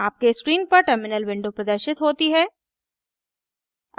आपके स्क्रीन पर terminal window प्रदर्शित होती है